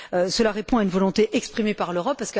Cela répond à une volonté exprimée par l'Europe.